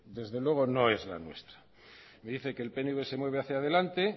desde luego no es la nuestra me dice que el pnv se mueve hacía delante